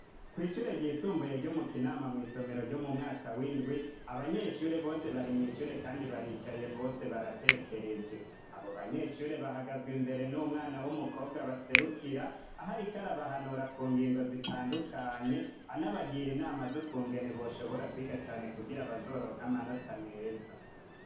Kwishure ryisumbuye ryo mu Kinama mwisomero ryo mu mwaka w'indwi abanyeshure bose bari mwishure kandi baricaye bose baratekereje abo banyeshure bahagazwa imbere n'umwana w'umukobwa baserukira ahariko arabahanura ku ngingo zitandukanye anabagira inama zokungene boshobora kwiga cane kugira abazoronka amanota meza.